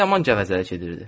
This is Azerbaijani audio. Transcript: O yaman gəvəzəlik edirdi.